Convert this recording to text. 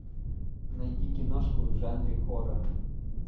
найди киношку в жанре хоррор